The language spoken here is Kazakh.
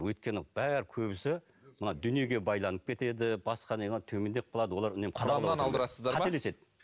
өйткені бәрі көбісі мына дүниеге байланып кетеді басқа не қылады төмендеп қалады құраннан алдырасыздар ма қателеседі